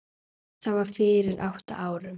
Það var fyrir átta árum